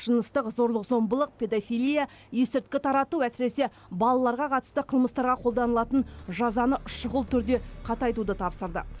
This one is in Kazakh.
жыныстық зорлық зомбылық педофилия есірткі тарату әсіресе балаларға қатысты қылмыстарға қолданылатын жазаны шұғыл түрде қатайтуды тапсырды